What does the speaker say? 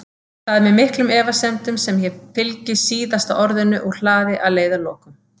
Það er með miklum efasemdum sem ég fylgi SÍÐASTA ORÐINU úr hlaði að leiðarlokum.